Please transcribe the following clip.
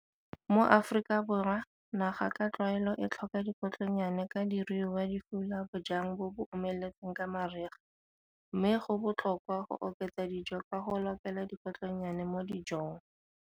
Mo Afrikaborwa, naga ka tlwaelo e tlhoka dikotlonnyane ka diruiwa di fula bojang bo bo omeletseng ka mariga, mme go botlhokwa go oketsa dijo ka go lokela dikotlonnyane mo dijong.